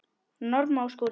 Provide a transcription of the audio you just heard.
Norma og Skúli.